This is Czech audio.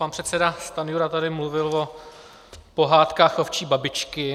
Pan předseda Stanjura tady mluvil o Pohádkách ovčí babičky.